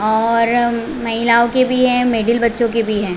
और महिलाओ के भी है मिडील बच्चो के भी है।